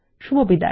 শুভবিদায়